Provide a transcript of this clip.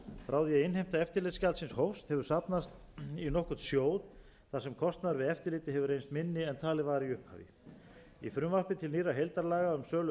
að innheimta eftirlitsgjaldsins hófst hefur safnast í nokkurn sjóð þar sem kostnaður við eftirlitið hefur reynst minni en talið var í upphafi í frumvarpi til nýrra heildarlaga um sölu